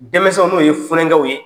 Denmisɛnw n'o ye funɛnkɛw ye,